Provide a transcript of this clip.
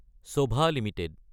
চভা Ltd